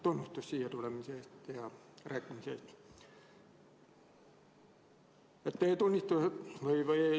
Tunnustus siia tulemise ja rääkimise eest!